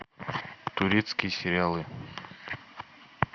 турецкие сериалы